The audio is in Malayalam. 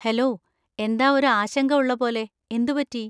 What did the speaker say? ഹെലോ, എന്താ ഒരു ആശങ്ക ഉള്ള പോലെ, എന്ത് പറ്റി?